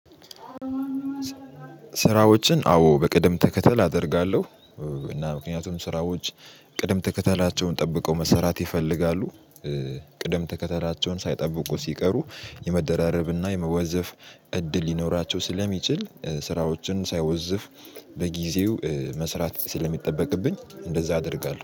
ስራዎችን አዎ በቅደም ተከተል አደርጋለሁ። እና ምክንያቱም ስራዎች ቅደም ተከተላቸውን ጠብቀው መሰራት ይፈልጋሉ። ቅደም ተከተላቸውን ሳይጠብቁ ሲቀሩ የመደራረብ እና የመወዘፍ እድል ሊኖራቸው ስለሚችል ስራዎችን ሳይወዝፍ በጊዜው መስራት ስለሚጠበቅብኝ እንደዛ አደርጋለሁ